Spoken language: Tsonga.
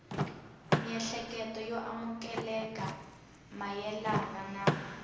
miehleketo yo amukeleka mayelana na